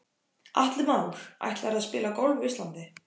Atli Már: Ætlarðu að spila golf á Íslandi?